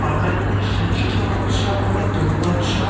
বাঙালিদের শ্রেষ্ঠ উৎসব হলো দুর্গোৎসব।